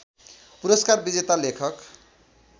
पुरस्कार विजेता लेखक